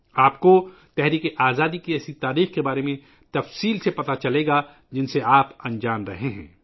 آپ کو تحریک آزادی کی ایسی تاریخ کے بارے میں تفصیل سے معلوم ہو جائے گا ، جس سے آپ انجان رہے ہیں